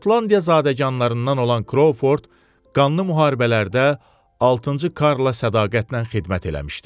Şotlandiya zadəganlarından olan Krovford, qanlı müharibələrdə altıncı Karla sədaqətlə xidmət eləmişdi.